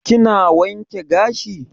Kina wanke gashi?